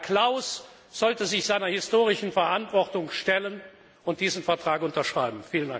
Herr Klaus sollte sich seiner historischen Verantwortung stellen und diesen Vertrag unterschreiben.